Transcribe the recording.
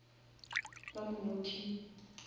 ba mo knockile